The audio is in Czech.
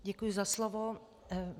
Děkuji za slovo.